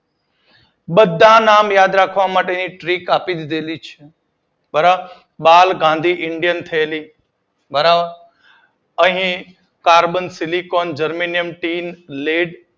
બધા નામ યાદ રાખવા માટેની તરીક આપી જ દીધેલી છે. બરાબર બાલગાંધીઇંડિયનશેરીક બરાબરઅહી carbon, silicon, germanium, tin lead